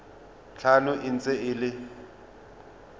tlhano e ntse e le